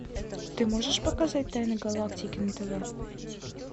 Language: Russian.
ты можешь показать тайны галактики на тв